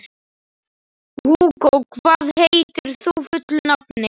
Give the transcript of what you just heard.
Hugó, hvað heitir þú fullu nafni?